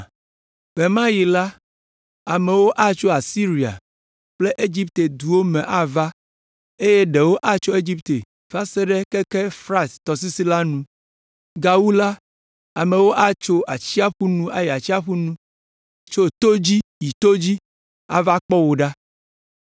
Ɣe ma ɣi la, amewo atso Asiria kple Egipte ƒe duwo me ava eye ɖewo atso Egipte va se ɖe keke Frat tɔsisi la nu. Gawu la, amewo atso atsiaƒu nu yi atsiaƒu nu, tso to dzi yi to dzi, ava kpɔ wò ɖa.